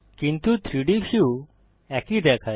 কিন্তু 3ডি ভিউ একই দেখায়